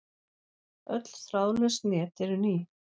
Öll þráðlaus net eru ný.